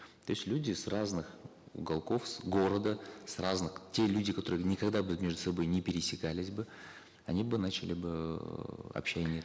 то есть люди с разных уголков города с разных те люди которые никогда бы между собой не пересекались бы они бы начали бы эээ общение